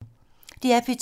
DR P2